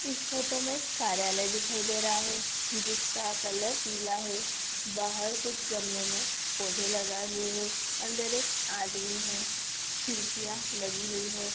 इस फोटो में कार्यालय दिखाई दे रहा है जिसका कलर पीला है| बाहर कुछ गमलों में पौधे लगाए हुए हैं अंदर एक आदमी है खिड़कियां लगी हुई है।